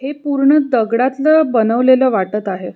हे पूर्ण दगडातल बनवलेल वाटत आहे.